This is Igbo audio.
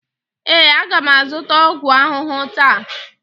ee, a ga m azụta ọgwụ ahụhụ taa.